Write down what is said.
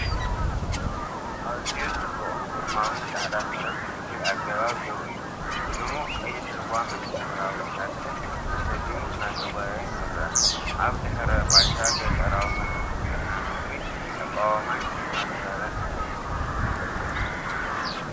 ኣዝዩ ጽቡቕን ግርማዊን ጻዕዳ ፈረስ ብፍሉይ ኣገባብ ደው ኢሉ፡ ብድሙቕ ቀይሕ ልጓምን ሕብራዊ ሳድልን ተሰሊሙን እናተጓየየን ይርአ። ኣብ ድሕረ ባይታ ገጠራዊ መልክዓ ምድሪ፡ ኣቃውማን ሽልማትን ፈረስ ምልክት ክብርን ጽምብልን ይመስል።